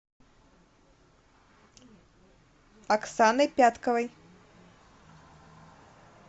оксаной пятковой